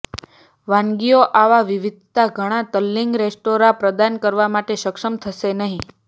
વાનગીઓ આવા વિવિધતા ઘણા તલ્લીન રેસ્ટોરાં પ્રદાન કરવા માટે સક્ષમ હશે નહીં